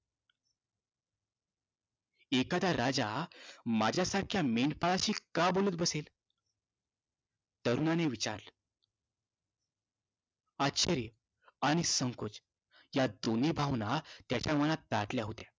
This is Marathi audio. एखादा राजा माझ्यासारख्या मेंढपाळाशी का बोलत बसेल? तरुणाने विचारलं. आश्चर्य आणि संकोच या दोन्ही भावना त्याच्या मनात दाटल्या होत्या.